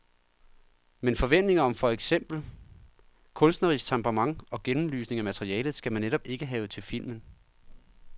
Men forventninger om for eksempel kunstnerisk temperament og gennemlysning af materialet, skal man netop ikke have til filmen.